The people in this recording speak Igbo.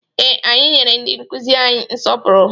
Ee, anyị nyere ndị nkụzi anyị nsọpụrụ.